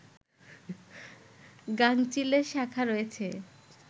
গাঙচিল এর শাখা রয়েছে